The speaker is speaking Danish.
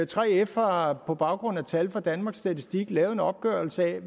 3f har på baggrund af tal fra danmarks statistik lavet en opgørelse